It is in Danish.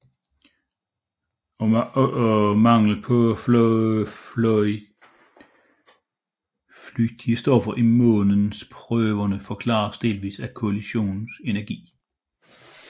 Også manglen på flygtige stoffer i måneprøverne forklares delvis af kollisionens energi